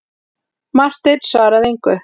Marteinn svaraði engu.